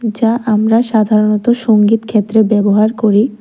যা আমরা সাধারণত সংগীত ক্ষেত্রে ব্যবহার করি।